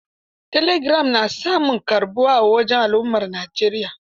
Telegiram na samun karɓuwa a wajen al'ummar Najeriya.